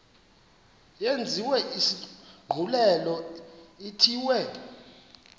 yenziwe isigculelo ithiwe